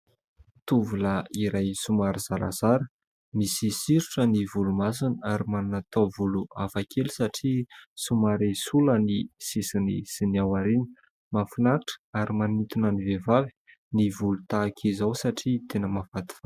Tovolahy iray somary zarazara. Misy sirotra ny volomasony ary manana taovolo hafakely satria somary sola ny sisiny sy ny ao aoriana. Mahafinaritra ary manintona ny vehivavy ny volo tahaka izao satria tena mahafatifaty.